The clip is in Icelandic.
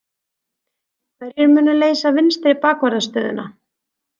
Hverjir munu leysa vinstri bakvarðarstöðuna?